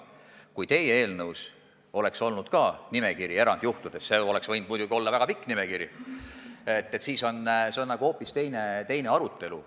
Kui ka teie eelnõus oleks olnud nimekiri erandjuhtudest – see võinuks muidugi olla väga pikk nimekiri –, siis oleks meil hoopis teine arutelu.